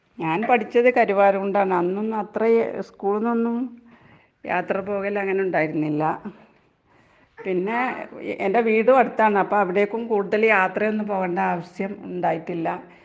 ഞാൻ പഠിച്ചത് കരുവാരക്കുണ്ടാണ്. അന്നൊന്നും അത്ര സ്കൂൾന്നൊന്നും യാത്ര പോകലങ്ങനെ ഉണ്ടായിരുന്നില്ല. പിന്നെ എന്റെ വീടും അടുത്താണ്, അപ്പ അവടേക്കും കൂടുതൽ യാത്രയൊന്നും പോകേണ്ട ആവശ്യം ഉണ്ടായിട്ടില്ല.